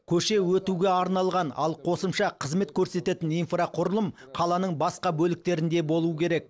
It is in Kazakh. көше өтуге арналған ал қосымша қызмет көрсететін инфрақұрылым қаланың басқа бөліктерінде болу керек